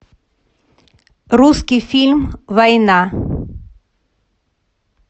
русский фильм война